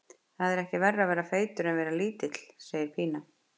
Það er ekkert verra að vera feitur en að vera lítill, segir Pína.